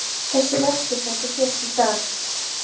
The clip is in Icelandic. Þessi verkur sem þú fékkst í dag.